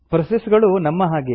process ಗಳು ನಮ್ಮ ಹಾಗೆಯೇ